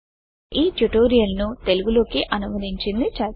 ఈ ట్యూటోరియల్ ను తెలుగు లోకి అనువదించింది చైతన్య